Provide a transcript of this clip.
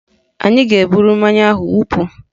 Anyị ga-eburu mmanya ahụ wụpụ